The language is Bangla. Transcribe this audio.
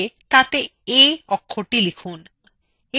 একটি connector এঁকে তাতে a অক্ষরটি লিখুন